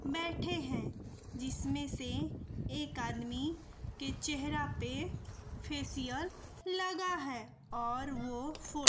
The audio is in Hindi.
बैठे हैं जिसमें से एक आदमी के चेहरा पे फेशियल लगा है और वो फो --